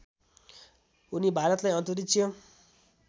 उनी भारतलाई अन्तरिक्ष